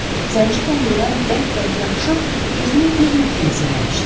Zənci kəndirdən bərk-bərk yapışıb gözünü bir nöqtəyə zilləmişdi.